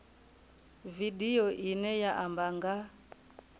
vidio ine ya amba nga